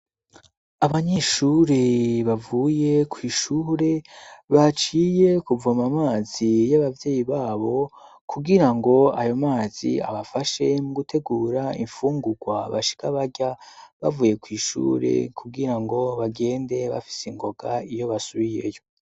Abanyeshure bavuye kw'ishure baciye kuvoma amazi y'abavyeyi babo kugirango ayo mazi abafashe mu gutegura imfungurwa bashika barya bavuye kw'ishure kugira ngo bagende bafise ingoga iyo basubiyeyo.